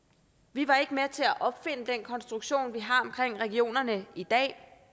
vi var ikke med til at opfinde den konstruktion vi har omkring regionerne i dag